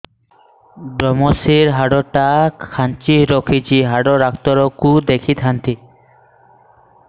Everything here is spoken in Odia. ଵ୍ରମଶିର ହାଡ଼ ଟା ଖାନ୍ଚି ରଖିଛି ହାଡ଼ ଡାକ୍ତର କୁ ଦେଖିଥାନ୍ତି